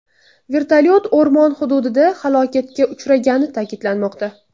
Vertolyot o‘rmon hududida halokatga uchragani ta’kidlanmoqda.